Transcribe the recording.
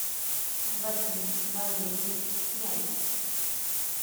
владимир валерьевич князев